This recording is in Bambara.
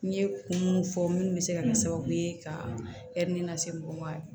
N ye kun mun fɔ minnu bɛ se ka kɛ sababu ye ka lase mɔgɔw ma